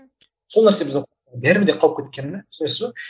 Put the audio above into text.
сол нәрсе бізде бәрібір де қалып кеткені де түсінесіз бе